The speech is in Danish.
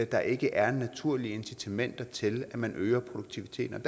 der ikke er naturlige incitamenter til at man øger produktiviteten